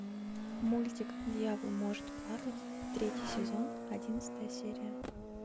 мультик дьявол может плакать третий сезон одиннадцатая серия